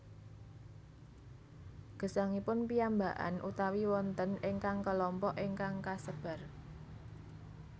Gesangipun piyambakan utawi wonten ingkang kelompok ingkang kasebar